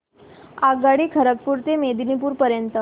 आगगाडी खरगपुर ते मेदिनीपुर पर्यंत